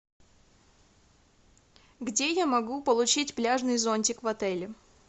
где я могу получить пляжный зонтик в отеле